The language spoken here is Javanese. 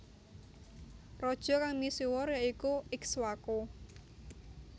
Raja kang misuwur ya iku Ikswaku